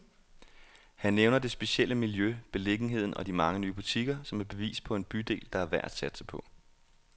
Han nævner det specielle miljø, beliggenheden og de mange nye butikker, som et bevis på en bydel, der er værd at satse på.